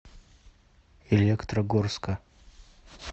электрогорска